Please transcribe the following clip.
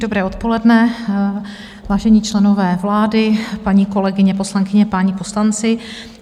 Dobré odpoledne, vážení členové vlády, paní kolegyně poslankyně, páni poslanci.